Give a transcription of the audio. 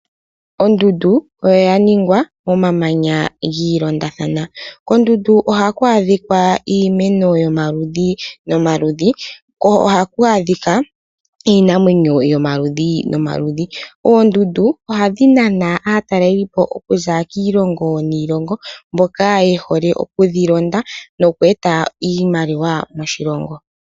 Ondundu oya ningwa momamanya gi ilondathana. Kondundu ohaku adhika iimeno yomaludhi nomaludhi ko ohaku adhika iinamwenyo yomaludhi nomaludhi. Oondundu ohadhi nana aatalelipo okuza kiilongo niilongo mboka ye hole okudhi londa noku eta iimaliwa moshilongo.